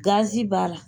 Gazi b'a la